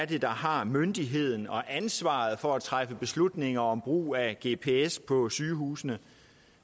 der har myndigheden til og ansvaret for at træffe beslutninger om brug af gps på sygehusene